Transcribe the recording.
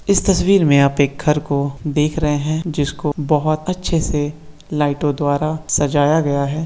इस तस्वीर में आप एक घर को देख रहे हैं जिसको बहुत अच्छे से लाइटो द्वारा सजाया गया है।